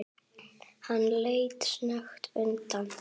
Hann leit snöggt undan.